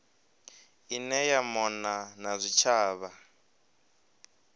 ine ya mona na zwitshavha